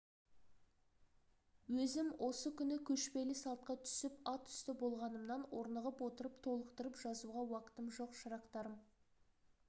өзім осы күні көшпелі салтқа түсіп ат үсті болғанымнан орнығып отырып толықтырып жазуға уақытым жоқ шырақтарым